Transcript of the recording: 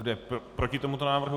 Kdo je proti tomuto návrhu?